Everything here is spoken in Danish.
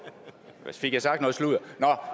fik jeg sagt noget sludder